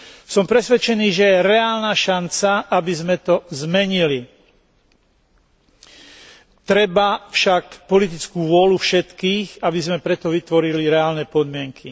Som presvedčený, že je reálna šanca, aby sme to zmenili. Treba však politickú vôľu všetkých, aby sme pre to vytvorili reálne podmienky.